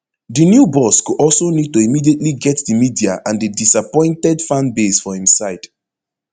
di new boss go also need to immediately get di media and a disappointed fanbase for im side